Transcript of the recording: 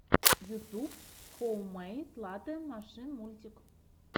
ютуб хоуммэйд латэ машин мультик